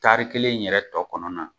Tari kelen yɛrɛ tɔ kɔnɔna na